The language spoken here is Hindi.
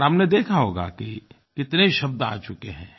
और आपने देखा होगा कि कितने शब्द आ चुके हैं